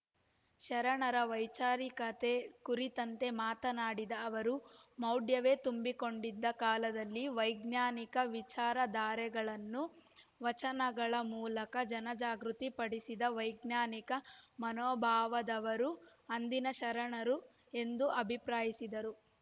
ಶರಣರ ವೈಚಾರಿಕತೆ ಕುರಿತಂತೆ ಮಾತನಾಡಿದ ಅವರು ಮೌಢ್ಯವೇ ತುಂಬಿಕೊಂಡಿದ್ದ ಕಾಲದಲ್ಲಿ ವೈಜ್ಞಾನಿಕ ವಿಚಾರ ಧಾರೆಗಳನ್ನು ವಚನಗಳ ಮೂಲಕ ಜನ ಜಾಗೃತಿ ಪಡಿಸಿದ ವೈಜ್ಞಾನಿಕ ಮನೋಭಾವದವರು ಅಂದಿನ ಶರಣರು ಎಂದು ಅಭಿಪ್ರಾಯಿಸಿದರು